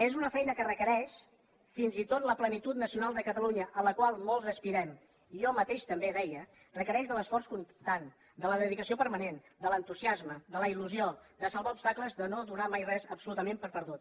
és una feina que requereix fins i tot la plenitud nacional de catalunya a la qual molts aspirem jo mateix també deia requereix l’esforç constant la dedicació permanent l’entusiasme la il·lusió salvar obstacles no donar mai absolutament per perdut